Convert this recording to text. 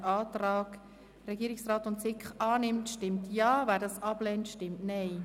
Wer den Antrag von SiK und Regierung annimmt, stimmt Ja, wer ihn ablehnt, stimmt Nein.